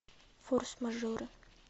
форс мажоры